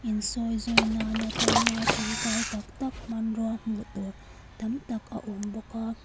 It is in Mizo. in sawizawi nan atana ṭangkai tak tak hmanrua hmuh tur tam tak a awm bawk a.